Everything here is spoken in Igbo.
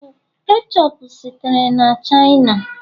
ketchup sitere na china